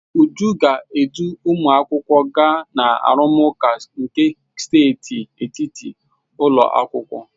Uju ga-edu ụmụakwụkwọ gaa na arụmụka nke steeti etiti ụlọ akwụkwọ.